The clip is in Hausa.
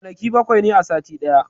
Kwanaki bawai ne a sati daya